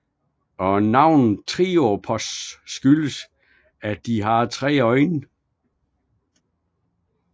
Og navnet triops skyldes at de har 3 øjne